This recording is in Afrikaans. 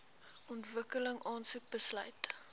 ontwikkeling aansoek besluit